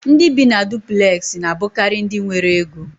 Ndị bi na dupulexi na abukari ndị nwéré Égó